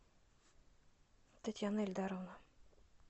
татьяна ильдаровна